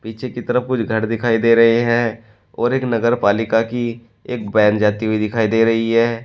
पीछे की तरफ कुछ घर दिखाई दे रहे हैं और एक नगर पालिका की एक वैन जाती हुई दिखाई दे रही है।